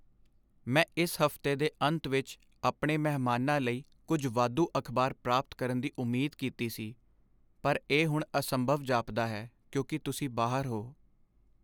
ਮੈਂ ਇਸ ਹਫਤੇ ਦੇ ਅੰਤ ਵਿੱਚ ਆਪਣੇ ਮਹਿਮਾਨਾਂ ਲਈ ਕੁਝ ਵਾਧੂ ਅਖਬਾਰ ਪ੍ਰਾਪਤ ਕਰਨ ਦੀ ਉਮੀਦ ਕੀਤੀ ਸੀ, ਪਰ ਇਹ ਹੁਣ ਅਸੰਭਵ ਜਾਪਦਾ ਹੈ ਕਿਉਂਕਿ ਤੁਸੀਂ ਬਾਹਰ ਹੋ।